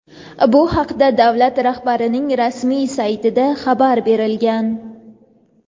Bu haqda davlat rahbarining rasmiy saytida xabar berilgan.